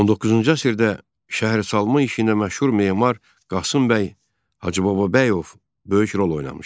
19-cu əsrdə şəhərsalma işi ilə məşğul memar Qasım bəy Hacıbababəyov böyük rol oynamışdı.